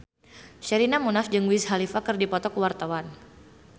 Sherina Munaf jeung Wiz Khalifa keur dipoto ku wartawan